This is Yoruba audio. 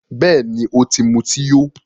Bẹ́ẹ̀ni, o ti muti yó